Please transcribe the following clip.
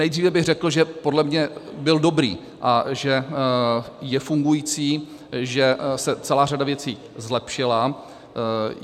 Nejdříve bych řekl, že podle mě byl dobrý a že je fungující, že se celá řada věcí zlepšila.